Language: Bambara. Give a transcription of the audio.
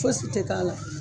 Fosi tɛ k'a la.